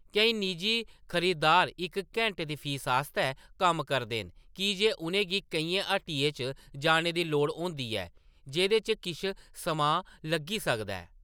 केईं निजी खरीदार इक घैंटे दी फीस आस्तै कम्म करदे न की जे उʼनें गी केइयें हट्टियें च जाने दी लोड़ होंदी ऐ जेह्‌‌‌दे च किश समां लग्गी सकदा ऐ।